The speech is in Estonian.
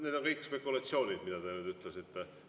Need on kõik spekulatsioonid, mida te ütlesite.